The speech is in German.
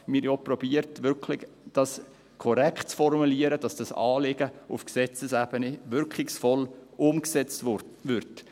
Wir haben es auch korrekt zu formulieren versucht, damit das Anliegen auf Gesetzesebene wirkungsvoll umgesetzt wird.